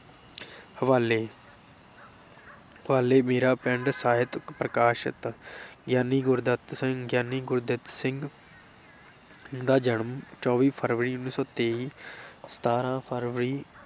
ਹਵਾਲੇ ਹਵਾਲੇ ਮੇਰਾ ਪਿੰਡ ਸਾਹਿਤ ਪ੍ਰਕਾਸ਼ਤ ਗਿਆਨੀ ਗੁਰਦਿੱਤ ਸਿੰਘ ਗਿਆਨੀ ਗੁਰਦਿੱਤ ਸਿੰਘ ਦਾ ਜਨਮ ਚੌਵੀ ਫਰਵਰੀ ਉੱਨੀ ਸੌ ਤੇਈ ਸਤਾਰਾਂ ਫਰਵਰੀ